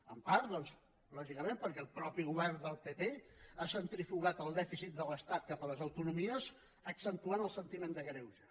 en part doncs lògicament perquè el mateix govern del pp ha centrifugat el dèficit de l’estat cap a les autonomies i ha accentuat el sentiment de greuge